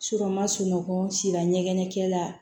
n ma sunɔgɔ sira ɲɛgɛn kɛla